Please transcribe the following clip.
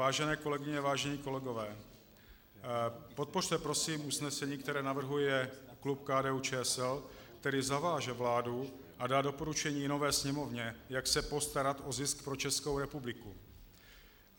Vážené kolegyně, vážení kolegové, podpořte prosím usnesení, které navrhuje klub KDU-ČSL, které zaváže vládu a dá doporučení nové Sněmovně, jak se postarat o zisk pro Českou republiku.